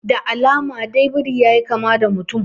Da alama dai biri yayi kama da mutum